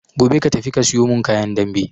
Gobe ka tafi ka suyo mun kayan dambe